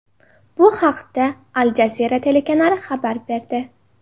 Bu haqda, Al Jazeera telekanali xabar berdi .